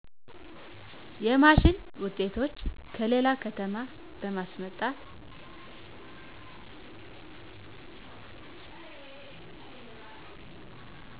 የማሺን ውጤቶች ከሌለ ከተማ በማስመጣት